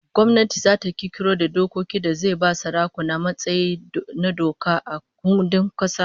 Gwamnati zata kirkiro da dokoki da zai ba sarakuna matsayi na doka a kundin kasa